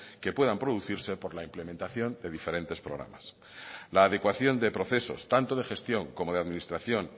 que puedan producirse por la implementación de diferentes programas la adecuación de procesos tanto de gestión como de administración